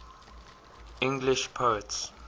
english poets